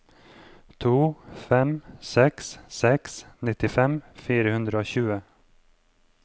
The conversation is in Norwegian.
to fem seks seks nittifem fire hundre og tjue